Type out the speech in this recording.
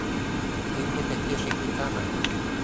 фильмы такеши китано